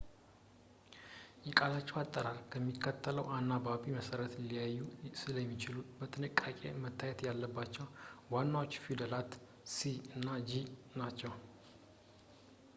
የቃላቸው አጠራር በሚከተለው አናባቢ መሠረት ሊለያይ ስለሚችል በጥንቃቄ መታየት ያለባቸው ዋናዎቹ ፊደላት c እና g ናቸው